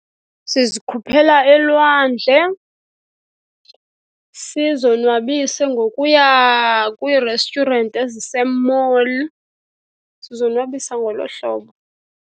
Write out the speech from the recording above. Sizikhuphela elwandle, sizonwabise ngokuya kwii-restaurant ezise-mall. Sizonwabisa ngolo hlobo.